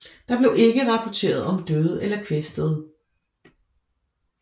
Der blev ikke rapporteret om døde eller kvæstede